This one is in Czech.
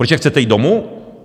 Protože chcete jít domů?